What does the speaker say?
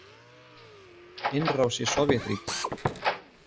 Innrás í Sovétríkin.